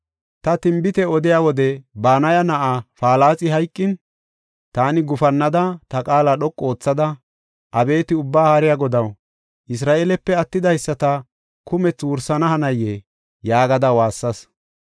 Ta tinbite odiya wode Banaya na7aa Palaxi hayqin, taani gufannada, ta qaala dhoqu oothada, “Abeeti Ubbaa Haariya Godaw, Isra7eelepe attidaysata kumethi wursana hanayee?” yaagada waassas.